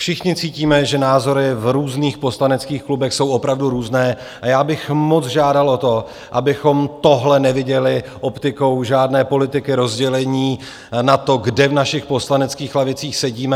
Všichni cítíme, že názory v různých poslaneckých klubech jsou opravdu různé, a já bych moc žádal o to, abychom tohle neviděli optikou žádné politiky rozdělení na to, kde v našich poslaneckých lavicích sedíme.